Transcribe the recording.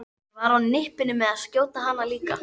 Ég var á nippinu með að skjóta hana líka.